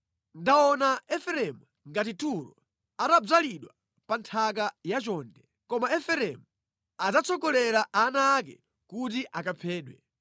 Ndaona Efereimu ngati Turo, atadzalidwa pa nthaka ya chonde. Koma Efereimu adzatsogolera ana ake kuti akaphedwe.”